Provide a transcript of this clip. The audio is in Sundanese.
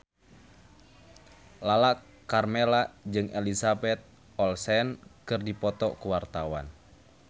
Lala Karmela jeung Elizabeth Olsen keur dipoto ku wartawan